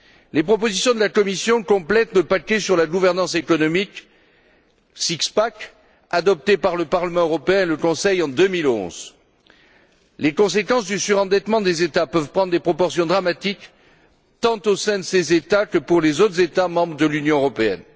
Les propositions de la Commission complètent le paquet sur la gouvernance économique, le six pack adopté par le Parlement européen et le Conseil en 2011. Les conséquences du surendettement des États peuvent prendre des proportions dramatiques, tant au sein de ces États que pour les autres États membres de l'Union européenne.